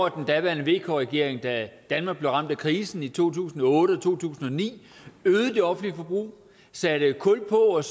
at den daværende vk regering da danmark blev ramt af krisen i to tusind og otte og to tusind og ni øgede det offentlige forbrug satte kul på og